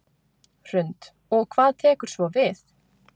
Hrund: Og hvað tekur svo við?